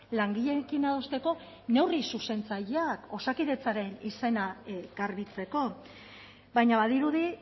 langileekin adosteko neurri zuzentzaileak osakidetzaren izena garbitzeko baina badirudi